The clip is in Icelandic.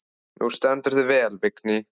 Þú stendur þig vel, Vigný!